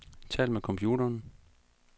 Tal med computeren.